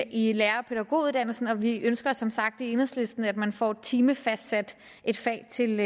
i lærer og pædagoguddannelsen og vi ønsker som sagt i enhedslisten at man får timefastsat et fag til